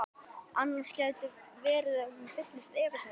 Annars gæti verið að hún fylltist efasemdum.